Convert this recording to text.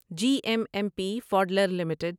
G M M Pfaudler limited